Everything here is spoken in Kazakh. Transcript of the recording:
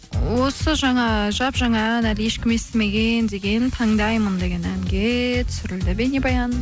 осы жаңа жап жаңа ән әлі ешкім естімеген деген таңдаймын деген әнге түсірілді бейнебаян